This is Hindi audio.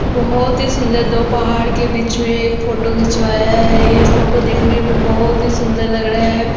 बोहोत ही सुंदर दो पहार के बीच मे एक फोटो खिचवाया है ये फोटो देखने मे बोहोत ही सुंदर लग रहा है।